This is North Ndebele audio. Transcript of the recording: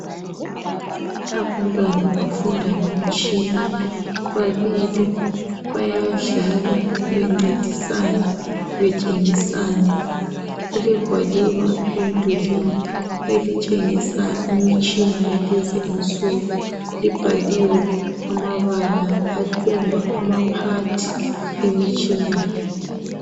Abantwana bafunda ngomtshina. Babili bayadlala bencedisana, betshengisana. Kulegwaliba emdulini elitshengisa imitshina yalezi insuku. Libhaliwe amabala akhomba ama part yemitshina le.